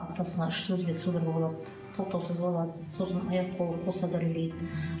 аптасына үш төрт рет судорога болады тоқтаусыз болады сосын аяқ қолы қоса дірілдейді